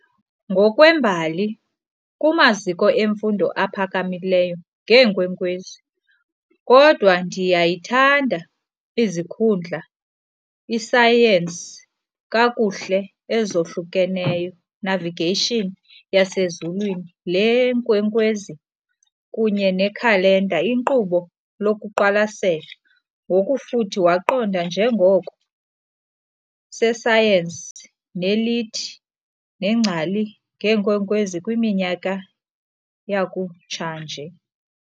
Ngokwembali, kumaziko emfundo ephakamileyo ngeenkwenkwezi, kodwa ndiyayithanda izikhundla isayensi kakuhle ezohlukeneyo navigation yasezulwini Le yeenkwenkwezi kunye nekhalenda iinkqubo lokuqwalasela, ngokufuthi waqonda njengoko sesayensi nelithi neengcali ngeenkwenkwezi kwiminyaka yakutshanje.